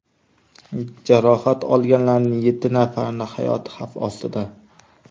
Jarohat olganlarning yetti nafarining hayoti xavf ostida.